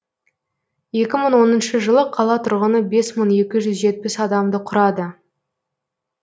екі мың оныншы жылы қала тұрғыны бес мың екі жүз жетпіс адамды құрады